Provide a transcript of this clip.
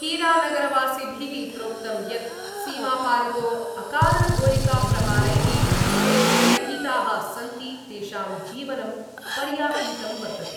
हीरानगरवासिभि: प्रोक्तम् यत् सीमापारतो अकारणगोलिकाप्रहारै: ते भयभीताः सन्ति तेषां जीवनं पर्याकुलितं वर्तते।